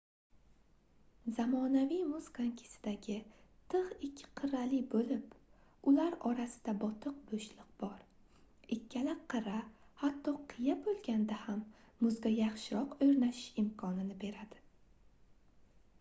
zamonaviy muz konkisidagi tigʻ ikki qirrali boʻlib ular orasida botiq boʻshliq bor ikkala qirra hatto qiya boʻlganda ham muzga yaxshiroq oʻrnashish imkonini beradi